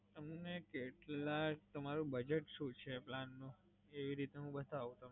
તમને કેટલા, તમારું budget શું છે plan નું? એવી રીતે હું બતાવું.